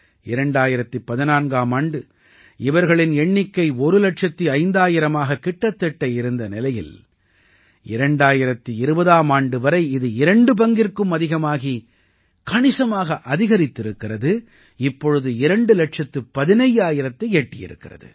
2014ஆம் ஆண்டு இவர்களின் எண்ணிக்கை ஒரு இலட்சத்து ஐந்தாயிரமாக கிட்டத்தட்ட இருந்த நிலையில் 2020ஆம் ஆண்டு வரை இது இரண்டு பங்கிற்கும் அதிகமாகி கணிசமாக அதிகரித்திருக்கிறது இப்பொழுது இரண்டு இலட்சத்து பதினையாயிரத்தை எட்டியிருக்கிறது